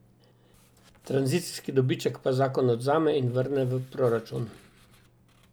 Tranzicijski dobiček pa zakon odvzame in vrne v proračun.